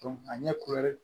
a ɲɛ